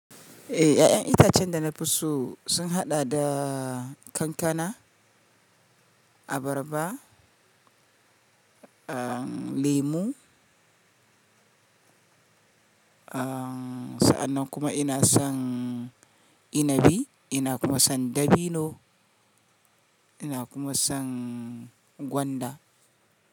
Eh, 'ya'yan itacen da na fi so sun haɗa da kankana, abarba, lemon, sa'annan kuma ina son inabi ina kuma son dabino ina kuma son gwanda.